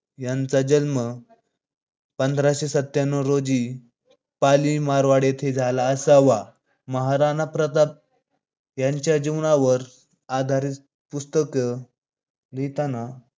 यांचा जन्म पंधराशे सत्यान्नव रोजी पाली मारवाड येथे झाला असावा. महाराणा प्रताप यांच्या जीवनावर आधारित पुस्तक लिहिताना